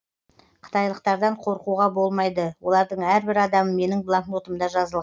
қытайлықтардан қорқуға болмайды олардың әрбір адамы менің блокнотымда жазылған